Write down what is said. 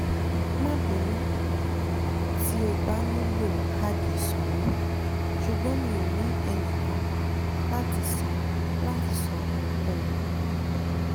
má bínú tí o bá nílò káàdì ìsanwó ṣùgbọ́n mi ò ní ẹnìkan láti san láti san ohunkóhun